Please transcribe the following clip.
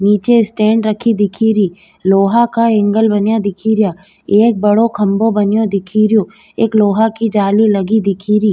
नीचे स्टेण्ड रखी दिखेरी लोहा का एंगल बनया दिखरिया एक बड़ो खम्भों बनयो दिखरियाे एक लोहा की जाली लगी दिखेरी।